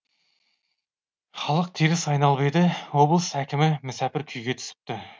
халық теріс айналып еді облыс әкімі мүсәпір күйге түсіпті